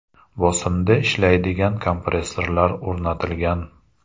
bosimda ishlaydigan kompressorlar o‘rnatilgan.